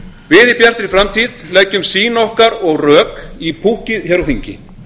við í bjartri framtíð leggjum sýn okkar og rök í púkkið hér á þingi